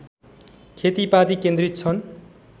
खेतीपाती केन्द्रित छन्